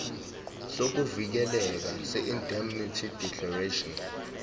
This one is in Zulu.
sokuvikeleka seindemnity declaration